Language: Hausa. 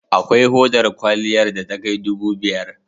Akwai hodar kwaliyar da takai dubu biyar.